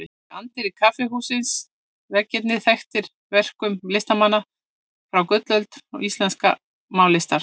Í anddyri kaffihússins eru veggirnir þaktir verkum listamanna frá gullöld íslenskrar málaralistar.